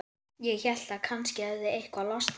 Ég hélt að kannski hefði eitthvað losnað.